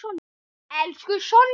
Elsku Sonja.